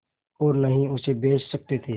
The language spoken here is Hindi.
और न ही उसे बेच सकते थे